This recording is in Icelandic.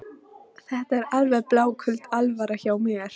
Þetta er alveg bláköld alvara hjá mér.